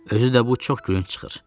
Özü də bu çox gülüncdür.